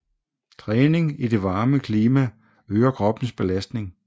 Træning i det varme klima øger kroppens belastning